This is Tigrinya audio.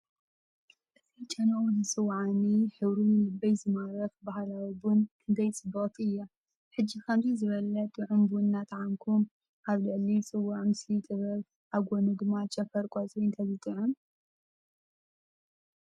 እዚ ጨናኡ ዝጽውዓኒ፡ ሕብሩ ንልበይ ዝማርኽ ባህላዊ ቡን ክንደይ ጽብቕቲ እያ! ሕጂ ከምዚ ዝበለ ጥዑም ቡን እናጠዓምኩ፡ ኣብ ልዕሊ ጽዋእ ምስሊ ጥበብ፡ ኣብ ጎድኑ ድማ ጨንፈር ቆጽሊ እንተዝጥዕም?